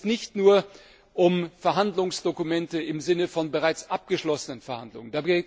Dabei geht es nicht nur um Verhandlungsdokumente im Sinne von bereits abgeschlossenen Verhandlungen.